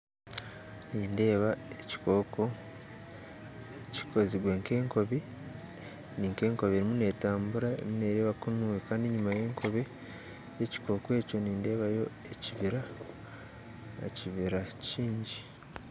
Nindeeba ekikooko kikozirwe nka enkobe ni nka enkobe eriyo neetambura emu neereba kunu enyima kandi enyima y'enkobe egyo nindeebayo ekibira, ekibira kiingi